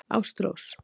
Ástrós